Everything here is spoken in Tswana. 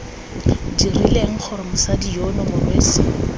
dirileng gore mosadi yono morwesi